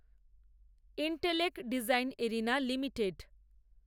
intellect design arena limited